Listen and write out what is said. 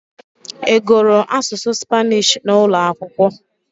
Ị gụrụ asụsụ Spanish n'ụlọ akwụkwọ?